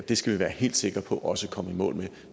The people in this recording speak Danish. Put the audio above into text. det skal vi være helt sikre på også at komme i mål med